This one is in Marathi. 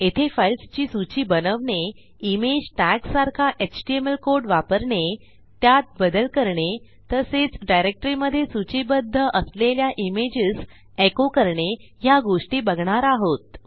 येथे फाइल्स ची सूची बनवणे इमेज टॅग सारखा एचटीएमएल कोड वापरणे त्यात बदल करणे तसेच डायरेक्टरी मधे सूचीबध्द असलेल्या इमेजेस एको करणे ह्या गोष्टी बघणार आहोत